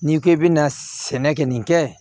N'i k'i bɛna sɛnɛ kɛ nin kɛ